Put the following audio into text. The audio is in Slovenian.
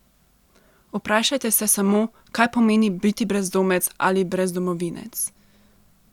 Vprašajte se samo, kaj pomeni biti brezdomec ali brezdomovinec!